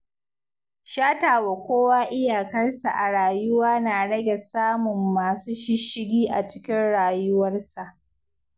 Shatawa kowa iyakarsa a rayuwa na rage samun masu shishshigi a cikin rayuwarsa.